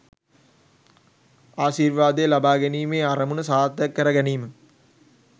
ආශිර්වාදය ලබා ගැනීමේ අරමුණ සාර්ථක කර ගැනීම